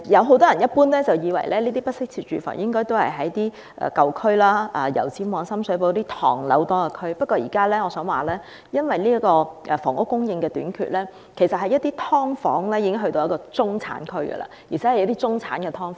很多人也以為，不適切住房一般位於舊區，例如油尖旺或深水埗等唐樓林立的地區，但我想指出，由於房屋供應短缺，現時"劏房"已開始在中產區出現，就是一些中產"劏房"。